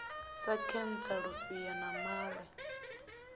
sa khentsa lufhia na maṅwe